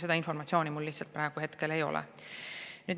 Seda informatsiooni mul lihtsalt praegu ei ole.